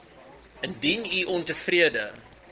indien u ontevrede